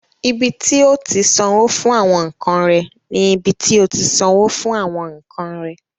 Ibi tí o ti sanwó fún àwọn nkan rẹ ni ibi tí o ti sanwó fún àwọn nkan rẹ.